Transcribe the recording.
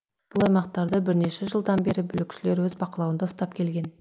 бұл аймақтарды бірнеше жылдан бері бүлікшілер өз бақылауында ұстап келген